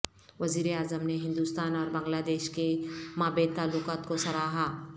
وزیر اعظم نے ہندوستان اور بنگلہ دیش کے مابین تعلقات کو سراہا